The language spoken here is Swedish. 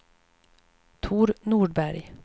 Tor Nordberg